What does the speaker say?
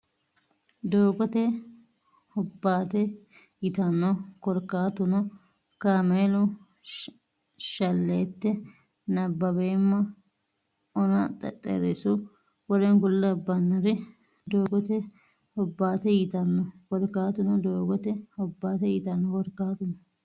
doogote hobbaate yitanno Korkaatuno kaameelu shalleette nabbaweemma ona xexxerrisu w k l doogote hobbaate yitanno Korkaatuno doogote hobbaate yitanno Korkaatuno.